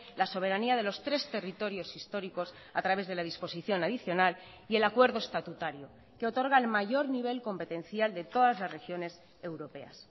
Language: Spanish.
la soberanía de los tres territorios históricos a través de la disposición adicional y el acuerdo estatutario que otorga el mayor nivel competencial de todas las regiones europeas